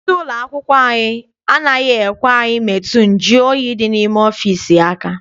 Onye isi ụlọakwụkwọ anyị anaghị ekwe anyị metụ nju oyi dị n'ime ọfịịsi aka.